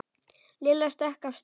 Lilla stökk af stað.